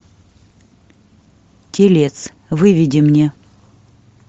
телец выведи мне